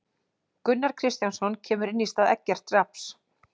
Gunnar Kristjánsson kemur inn í stað Eggerts Rafns.